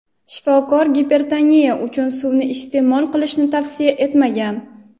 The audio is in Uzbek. shifokor gipertoniya uchun suvni ko‘p iste’mol qilishni tavsiya etmagan.